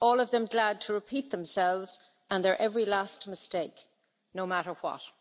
All of them glad to repeat themselves and their every last mistake, no matter what.'